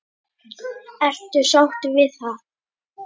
Ertu sáttur við það?